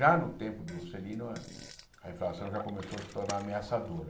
Já no tempo de Juscelino, a a inflação já começou a se tornar ameaçadora.